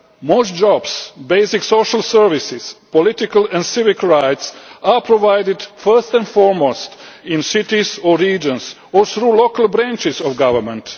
Most jobs, basic social services, political and civic rights are provided first and foremost in cities or regions or through local branches of government.